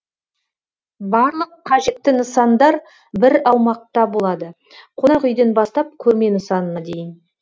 барлық қажетті нысандар бір аумақта болады қонақ үйден бастап көрме нысанына дейн